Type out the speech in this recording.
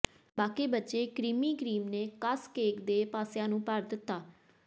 ਬਾਕੀ ਬਚੇ creamy cream ਨੇ ਕੱਸ ਕੇਕ ਦੇ ਪਾਸਿਆਂ ਨੂੰ ਭਰ ਦਿੱਤਾ